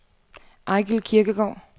Eigil Kirkegaard